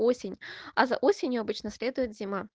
осень а за осенью обычно следует зима